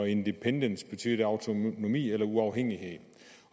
independence autonomi eller uafhængighed